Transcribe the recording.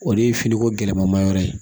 O de ye finiko gɛlɛma yɔrɔ ye